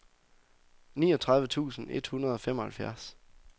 niogtredive tusind et hundrede og femoghalvfjerds